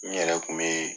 N yɛrɛ kun bɛ